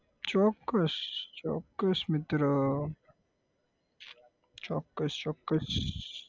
ચોક્કસ, ચોક્કસ મિત્ર ચોક્કસ ચોક્કસ